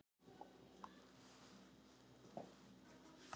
Mótmæla hugmyndum um sameiningu